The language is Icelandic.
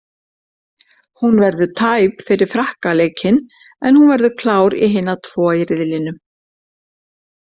Hún verður tæp fyrir Frakka leikinn en hún verður klár í hina tvo í riðlinum.